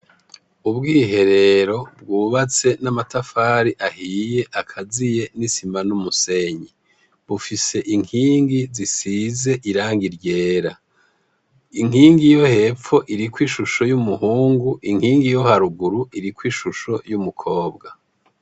Ubwiherero bwubatse n'amatafari ahiye akaziye n'isima n'umusenyi .Bufise inkingi zisize irangi ryera inkingi yo hepfo iriko ishusho y'umuhungu inkingi iyo haruguru iri ko ishusho y'umukobwa.